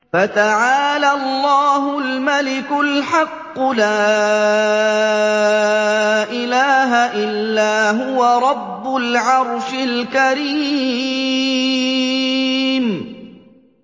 فَتَعَالَى اللَّهُ الْمَلِكُ الْحَقُّ ۖ لَا إِلَٰهَ إِلَّا هُوَ رَبُّ الْعَرْشِ الْكَرِيمِ